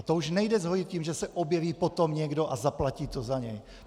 A to už nejde zhojit tím, že se objeví potom někdo a zaplatí to za něj.